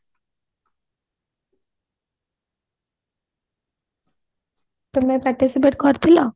ତମେ participate କରିଥିଲ